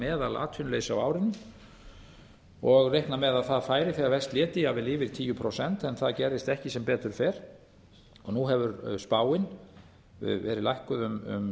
meðalatvinnuleysi á árinu og reiknað með að það færi þegar verst léti jafnvel yfir tíu prósent en það gerðist ekki sem betur fer og nú hefur spáin verið lækkuð um